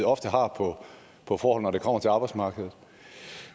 ofte har på forhold når det kommer til arbejdsmarkedet